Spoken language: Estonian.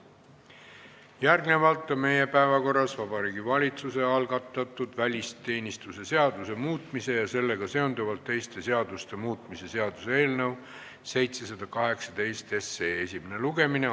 Järgnevalt on meie päevakorras Vabariigi Valitsuse algatatud välisteenistuse seaduse muutmise ja sellega seonduvalt teiste seaduste muutmise seaduse eelnõu 718 esimene lugemine.